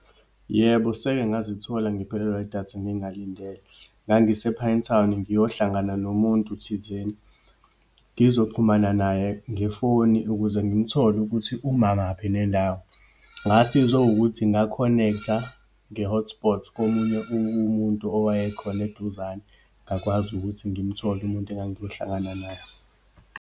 Yebo, seke ngazithola ngiphelelwa idatha ngingalindele. Ngangise-Pinetown, ngiyohlangana nomuntu thizeni, ngizoxhumana naye ngefoni ukuze ngimthole ukuthi umamaphi nendawo. Ngasizwa ukuthi nga-connect-a nge-hotspot komunye umuntu owayekhona eduzane. Ngakwazi ukuthi ngimthole umuntu engangiyohlangana naye.